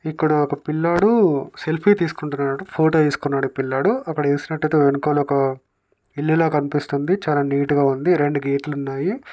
ఇక్కడ ఒక పిల్లోడు సెల్ఫీ తీసుకుంటున్నాడు. ఫోటో తీసుకుంటున్నాడు ఈ పిల్లోడు. అక్కడ చూసినట్లయితే వెనుక ఒక ఇల్లులా కనిపిస్తుంది. చాలా నీట్ గా ఉంది. రెండు గేట్ లు ఉన్నాయి.